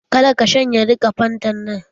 Ka da ka shanye duka fantan nan!